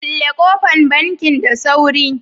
kulle kofan bankin da sauri.